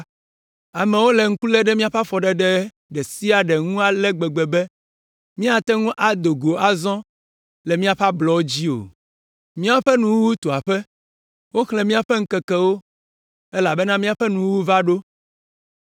Amewo le ŋku lém ɖe míaƒe afɔɖeɖe ɖe sia ɖe ŋu ale gbegbe be, míagate ŋu ado go azɔ le míaƒe ablɔwo dzi o. Míaƒe nuwuwu tu aƒe, woxlẽ míaƒe ŋkekewo elabena míaƒe nuwuwu va ɖo.